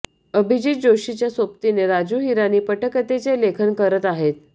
अभिजात जोशीच्या सोबतीने राजू हिरानी पटकथेचे लेखन करत आहेत